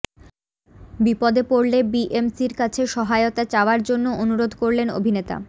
বিপদে পড়লে বিএমসির কাছে সহায়তা চাওয়ার জন্য অনুরোধ করলেন অভিনেতা